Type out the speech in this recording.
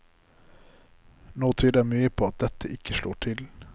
Nå tyder mye på dette ikke slår til.